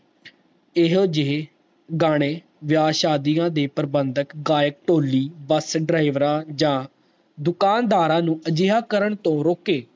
ਇਹੋ ਜਿਹੇ ਗਾਣੇ ਵਿਆਹ ਸਾਹਦੀਆਂ ਦੀ ਪ੍ਰਬੰਧਕ ਗਏ ਟੋਲੀ ਦਸ ਡਰਾਈਵਰ ਜਾ ਦੁਕਾਨਦਾਰਾਂ ਨੂੰ ਅਜਿਹਾ ਕਾਰਨ ਤੋਂ ਰੋਕੇ